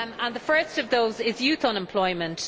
The first of those is youth unemployment.